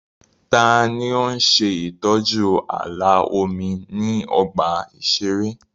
Ta ni ó ń ṣe ìtọ́jú ààlà omi ní ọgbà ìṣeré?